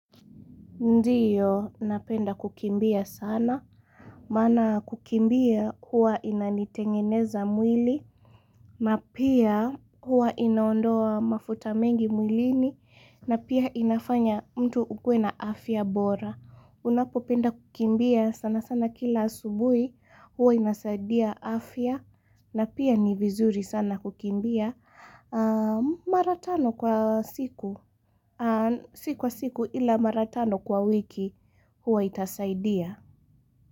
Ndiyo, napenda kukimbia sana, maana kukimbia huwa inanitengeneza mwili, na pia huwa inaondoa mafuta mengi mwilini, na pia inafanya mtu ukue na afya bora. Unapopenda kukimbia sana sana kila asubuhi huwa inasaidia afya na pia ni vizuri sana kukimbia mara tano kwa siku kwa siku ila mara tano kwa wiki huwa itasaidia.